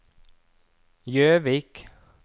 Gjøvik